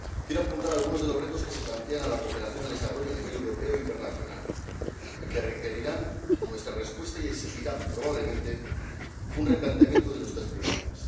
Quiero apuntar algunos de los retos que se plantean a la cooperación al desarrollo a nivel europeo e internacional y que requerirán nuestra respuesta y exigirán probablemente un replanteamiento de nuestras prioridades.